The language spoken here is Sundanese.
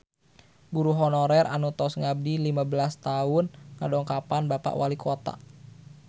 Guru honorer anu tos ngabdi lima belas tahun ngadongkapan Bapak Walikota